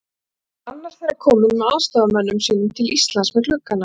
Enda er annar þeirra kominn með aðstoðarmönnum sínum til Íslands með gluggana